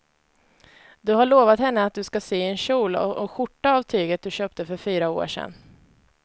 Du har lovat henne att du ska sy en kjol och skjorta av tyget du köpte för fyra år sedan.